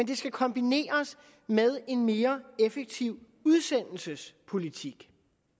det skal kombineres med en mere effektiv udsendelsespolitik